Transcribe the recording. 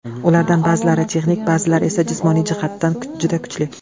Ulardan ba’zilari texnik, ba’zilari esa jismoniy jihatdan juda kuchli.